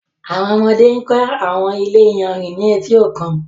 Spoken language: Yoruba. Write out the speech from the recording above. Àwọn ọmọdé ń kọ́ àwọn ilé iyanrìn ní etí òkun.